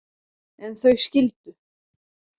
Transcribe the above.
En þau skildu.